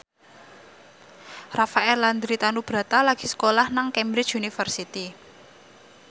Rafael Landry Tanubrata lagi sekolah nang Cambridge University